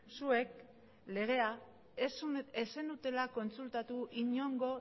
zuek legea ez zenutela kontsultatu inongo